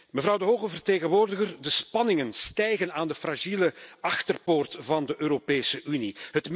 Mevrouw de hoge vertegenwoordiger, de spanningen stijgen aan de fragiele achterpoort van de Europese Unie.